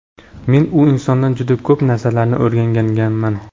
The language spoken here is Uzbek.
Men u insondan juda ko‘p narsalarni o‘rganganman.